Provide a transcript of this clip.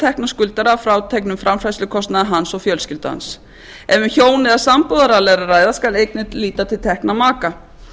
tekna skuldara að fráteknum framfærslukostnaði hans og fjölskyldu hans ef um hjón eða sambúðaraðila er að ræða skal einnig líta til tekna maka